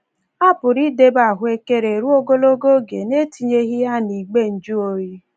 A pụrụ idebe ahụekere ruo ogologo oge n’etinyeghị ya n'igbe njụoyi.